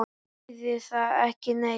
Þýðir það ekki neitt?